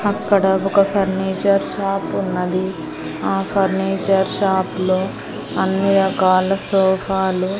అక్కడ ఒక furniture shop ఉన్నది ఆ ఫర్నిచర్ షాప్లో అన్ని రకాల సోఫాలు --